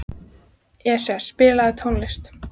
Esja, spilaðu tónlist.